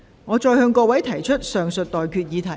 我現在向各位提出上述待決議題。